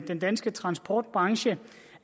den danske transportbranche